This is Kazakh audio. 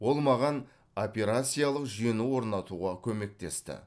ол маған операциялық жүйені орнатуға көмектесті